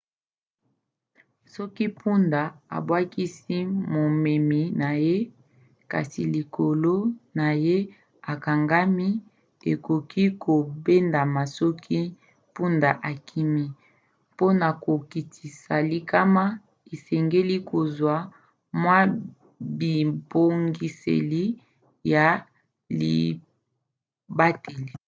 soki mpunda abwakisi momemi na ye kasi likolo na ye ekangami akoki kobendama soki mpunda akimi. mpona kokitisa likama esengeli kozwa mwa bibongiseli ya libateli